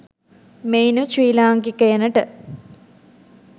මෙයිනුත් ශ්‍රී ලාංකිකයිනට